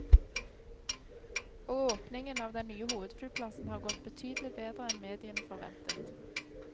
Og åpningen av den nye hovedflyplassen har gått betydelig bedre enn mediene forventet.